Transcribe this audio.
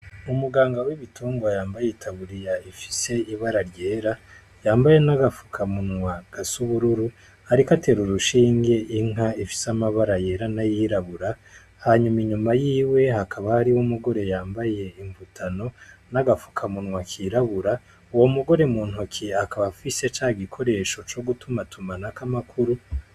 Umuganga w'ibitungwa yambaye itaburiya ifise ibara ryera yambaye n'agafukamunwa gasubururu, ariko atera uru ushinge inka ifise amabara yera nayirabura hanyuma inyuma yiwe hakaba ari wo umugore yambaye imputano n'agafuka munwa kirabura uwo mugore muntokiye akabafise ike ca igikoresho co gutuma tumanako amakuru.